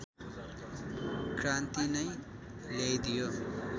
क्रान्ति नै ल्याइदियो